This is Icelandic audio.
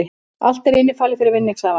Allt er innifalið fyrir vinningshafana